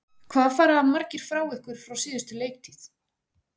Hvað fara margir frá ykkur frá síðustu leiktíð?